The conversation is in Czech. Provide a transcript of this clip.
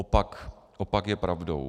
Opak je pravdou.